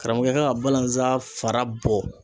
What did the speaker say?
Karamɔgɔkɛ ka ka balanzan fara bɔ.